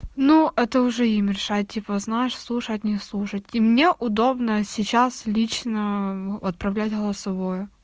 ну это уже им решать типа знаешь слушать не слушать и мне удобно сейчас лично отправлять голосовое